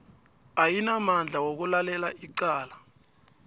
ayinamandla wokulalela icala